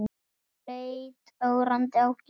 Hún leit ögrandi á Gísla.